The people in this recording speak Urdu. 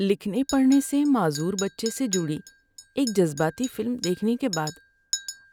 لکھنے پڑھنے سے معذور بچے سے جڑی ایک جذباتی فلم دیکھنے کے بعد